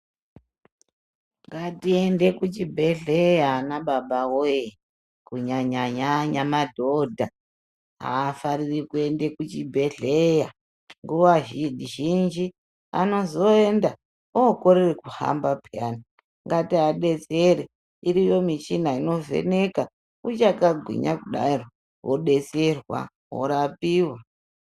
Ngatiende kuchibhedhleya anababa woye. Kunyanya-nyanya madhodha haafariri kuende kuchibhedhleya, nguva zhinji anozoenda ookorere kuhamba peyani. Ngatiadetsere, iriyo michina inovheneka, uchakagwinya kudaro, wodetserwa, worapiwa.